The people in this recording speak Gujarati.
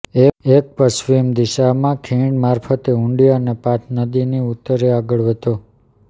એક પશ્ચિમ દિશામાં ખીણ મારફતે ઉડી અને પાથ નદીની ઉત્તરે આગળ વધો